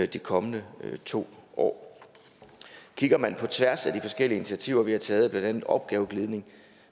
de kommende to år kigger man på tværs af de forskellige initiativer vi har taget blandt andet opgaveglidning